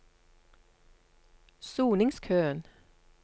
soningskøen